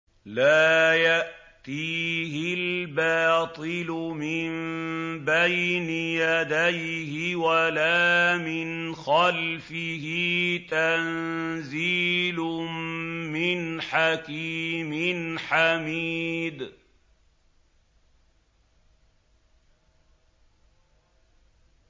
لَّا يَأْتِيهِ الْبَاطِلُ مِن بَيْنِ يَدَيْهِ وَلَا مِنْ خَلْفِهِ ۖ تَنزِيلٌ مِّنْ حَكِيمٍ حَمِيدٍ